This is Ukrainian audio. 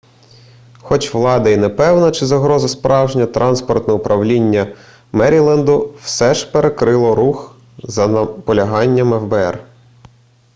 хоч влада і не певна чи загроза справжня транспортне управління меріленду все ж перекрило рух за наполяганням фбр